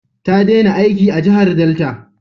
Ta dena aiki a jahar Delta